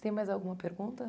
Tem mais alguma pergunta?